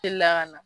Telila ka na